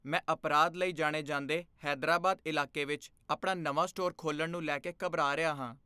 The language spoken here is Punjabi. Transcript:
ਮੈਂ ਅਪਰਾਧ ਲਈ ਜਾਣੇ ਜਾਂਦੇ ਹੈਦਰਾਬਾਦ ਇਲਾਕੇ ਵਿੱਚ ਆਪਣਾ ਨਵਾਂ ਸਟੋਰ ਖੋਲ੍ਹਣ ਨੂੰ ਲੈ ਕੇ ਘਬਰਾ ਰਿਹਾ ਹਾਂ।